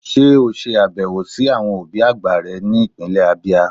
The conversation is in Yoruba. sé e o sè abewo si Àwọn obi àgbà re ni ipinle Abia?